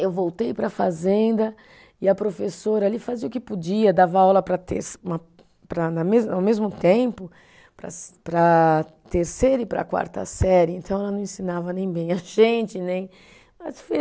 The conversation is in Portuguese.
Eu voltei para a fazenda e a professora ali fazia o que podia, dava aula para terce, uma, para na mesma, ao mesmo tempo, para para a terceira e para a quarta série, então ela não ensinava nem bem a gente né.